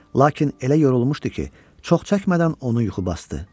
Lakin elə yorulmuşdu ki, çox çəkmədən onu yuxu basdı.